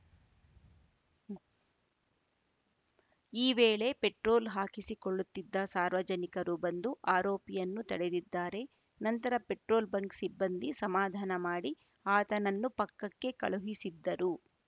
ಈ ವೇಳೆ ಪೆಟ್ರೋಲ್‌ ಹಾಕಿಸಿಕೊಳ್ಳುತ್ತಿದ್ದ ಸಾರ್ವಜನಿಕರು ಬಂದು ಆರೋಪಿಯನ್ನು ತಡೆದಿದ್ದಾರೆ ನಂತರ ಪೆಟ್ರೋಲ್‌ ಬಂಕ್‌ ಸಿಬ್ಬಂದಿ ಸಮಾಧಾನ ಮಾಡಿ ಆತನನ್ನು ಪಕ್ಕಕ್ಕೆ ಕಳುಹಿಸಿದ್ದರು